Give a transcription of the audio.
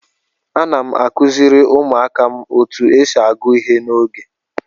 Ana m akụziri ụmụaka otu esi agụ ihe n'oge.